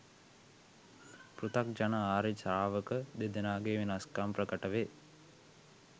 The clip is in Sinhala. පෘථග්ජන ආර්ය ශ්‍රාවක දෙදෙනාගේ වෙනස්කම් ප්‍රකට වේ.